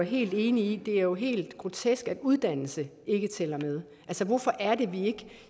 helt enig i det er helt grotesk at uddannelse ikke tæller med hvorfor